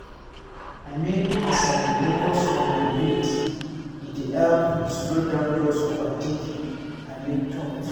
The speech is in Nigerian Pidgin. i mean as i dey focus on my breath e dey help slow down those overthinking i mean thoughts.